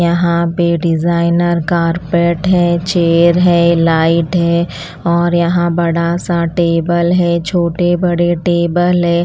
यहाँ पे designer carpet है चेयर है लाइट है और यहाँ बड़ा सा टेबल है छोटे बड़े टेबल है।